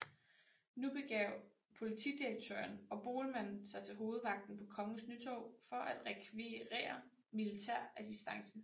Nu begav politidirektøren og Boelmann sig til Hovedvagten på Kongens Nytorv for at rekvirere militær assistance